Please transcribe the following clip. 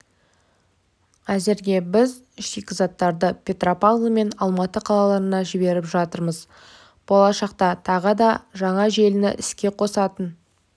әзірге біз шикізаттарды петропавл мен алматы қалаларына жіберіп жатырмыз болашақта тағы да жаңа желіні іске қосатын